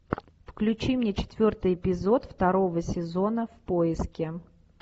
включи мне четвертый эпизод второго сезона в поиске